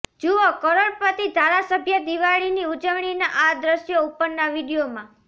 જુઓ કરોડપતિ ધારાસભ્ય દિવાળીની ઉજવણીના આ દ્રશ્યો ઉપરના વિડીયોમાં